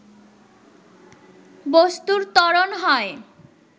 বস্তুর ত্বরণ হয়